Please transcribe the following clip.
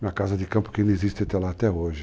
Minha casa de campo que ainda existe até lá, até hoje.